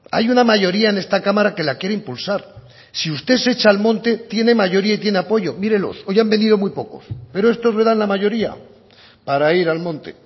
hay una mayoría en esta cámara que la quiere impulsar si usted se echa al monte tiene mayoría y tiene apoyo mírelos hoy han venido muy pocos pero estos le dan la mayoría para ir al monte